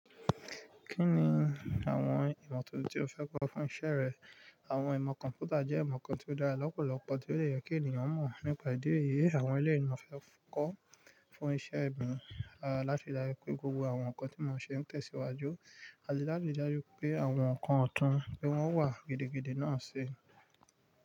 Kí ni àwọn ìmọ̀ tuntun tí ó fẹ́ kọ́ fún iṣẹ́ rẹ? Àwọn ìmọ̀ kọ̀m̀pútà jẹ́ ìmọ̀ kan tí ó dára lọ́pọ̀lọpọ̀ tí ó dè yẹ kí ènìyàn mọ̀ nípa ìdí èyí àwọn eleyin ni mo fẹ́ kó fún iṣẹ́ mí, láti ri dájú pé gbogbo àwọn nǹkan tí mọ́n ṣe ń tẹ̀síwájú, àti láti ri dájú pé àwọn nǹkan ọ̀tún ní wọ́n wà gidi gidí náà ṣe.